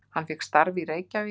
Hann fékk starf í Reykjavík.